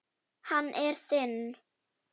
Hann er þinn.